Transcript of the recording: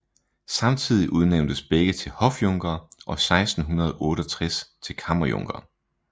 Samtidig udnævntes begge til hofjunkere og 1668 til kammerjunkere